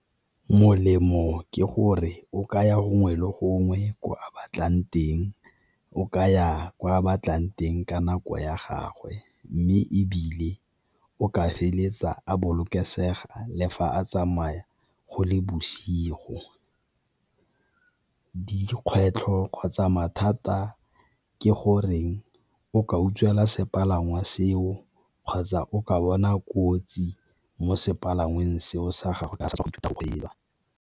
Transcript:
Molemo ke gore o kaya gongwe le gongwe ko a batlang teng, o ka ya ko a batlang teng ka nako ya gagwe. Mme ebile o ka feleletsa a bolokesega le fa a tsamaya go le bosigo. Dikgwetlho kgotsa mathata ke goreng o ka utswelwa sepalangwa seo kgotsa o ka bona kotsi mo sepalangweng seo sa gagwe ka a sa ithuta go kgweetsa.